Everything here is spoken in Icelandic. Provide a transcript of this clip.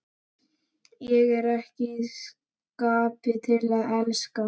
Ég er í skapi til að elska!